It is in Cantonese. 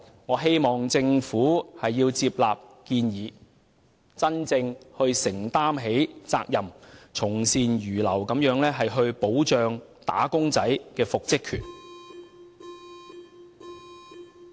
我希望政府接納建議，真正承擔責任，從善如流地保障"打工仔"的復職權。